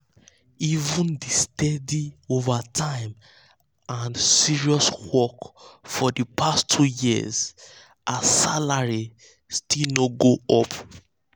even with steady overtime and serious work for the past two years her salary still no go up. um